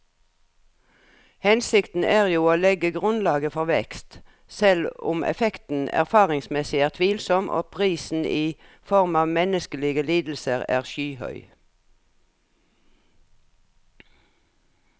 Hensikten er jo å legge grunnlaget for vekst, selv om effekten erfaringsmessig er tvilsom og prisen i form av menneskelige lidelser er skyhøy.